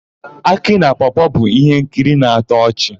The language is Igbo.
Akị na Pọọ-pọọ bụ íhénkiri na-atọ ọchị.